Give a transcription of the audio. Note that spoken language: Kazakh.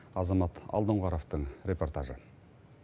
азамат алдоңғаровтың репортажы